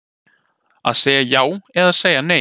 Að segja já eða segja nei